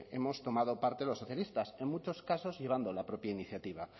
hemos tomado parte los socialistas en muchos casos llevando la propia iniciativa